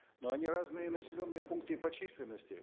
но они разные и населенные пункты и по численности